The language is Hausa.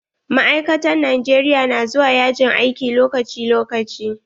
Ma'aikatan Najeriya na zuwa yajin aiki lokaci lokaci.